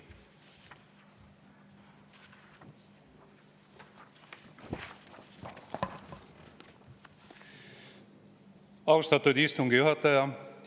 Austatud istungi juhataja!